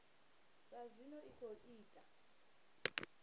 zwa zwino i khou ita